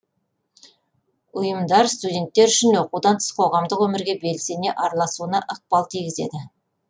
ұйымдар студенттер үшін оқудан тыс қоғамдық өмірге белсене араласуына ықпал тигізеді